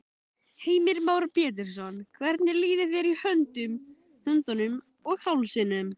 Heimir Már Pétursson: Hvernig líður þér í höndunum og hálsinum?